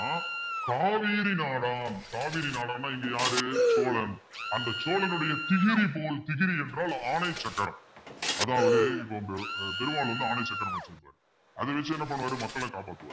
காவேரி நாடாம் காவிரி நாடான்னா இங்க யாரு சோழன் அந்த சோழனுடைய திகிரி போல் திகிரி என்றால் ஆணை சக்கரம் அதாவது இப்ப அந்த அஹ் திருமால் வந்து ஆணை சக்கரம் வச்சிருக்காரு அதை வச்சு என்ன பண்ணுவாரு மக்களை காப்பாத்துவாரு